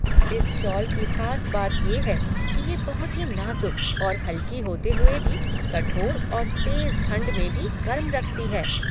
इस शॉल की ख़ास बात ये है कि ये बहुत ही नाज़ुक और हल्की होते हुए भी कठोर और तेज़ ठंड में भी गर्म रखती है।